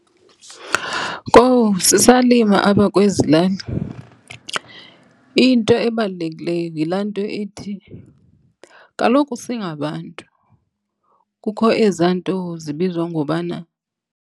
Kowu, sisalima apha kwezi lali. Into ebalulekileyo yilaa nto ithi kaloku singabantu kukho ezaa nto zibizwa ngobana.